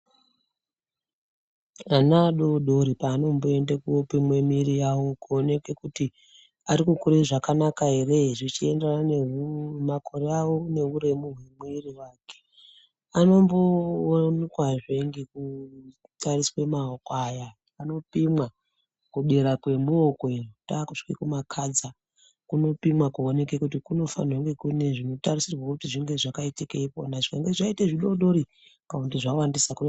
Ana adoodori paano mboende koopimwe mwiri yawo, kuoneke kuti ari kukura zvakanaka ere? Zvichi enderana nemakore awo, neuremu hwemwiri wake, ano mboonekwazve ngekutariswe maoko aya, anopimwa kudera kwemuoko ino, taakusvika kumakhadza , kunopimwa kuona kuti kune zvino tarisirwa zvinofane kunge zvakaita ikwona, zvikange zvaita zvidoodori kana kuti zvawandisa.